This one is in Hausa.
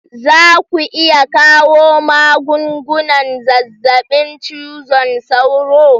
Za ku iya kawo magungunan zazzabin cizon sauro?